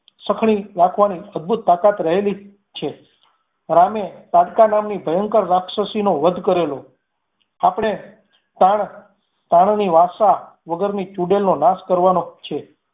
સખણી રાખવાની અદભૂત તાકાત રહેલી છે. રામ એ તાડકા નામની ભયંકર રાક્ષસીનો વધ કરેલો, આપણે તાણ તાણની વાસા વગરની ચુડેલ નો નાશ કરવાનો છે.